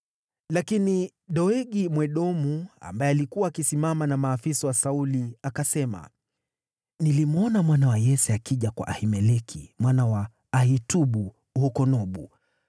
Lakini Doegi Mwedomu, ambaye alikuwa akisimama na maafisa wa Sauli, akasema, “Nilimwona mwana wa Yese akija kwa Ahimeleki mwana wa Ahitubu huko Nobu.